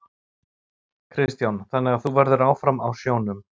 Kristján: Þannig að þú verður áfram á sjónum?